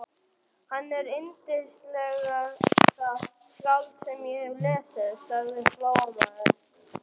Hann er yndislegasta skáld sem ég hef lesið, sagði Flóamaður.